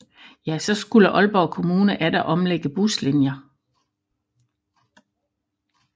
Ja så skulle Aalborg kommune atter omlægge buslinjer